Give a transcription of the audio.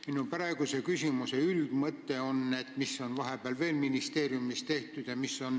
Minu praeguse küsimuse üldmõte on, mis on vahepeal ministeeriumis veel tehtud.